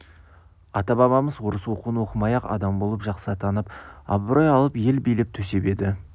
ата-бабамыз орыс оқуын оқымай-ақ адам болып жақсы атанып абырой алып ел билеп-төстеп еді